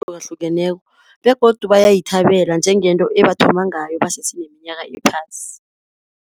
Hlukahlukeneko begodu bayayithabela njengento ebathoma ngayo basese neminyaka ephasi.